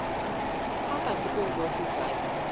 phakathi kweenkosi zakhe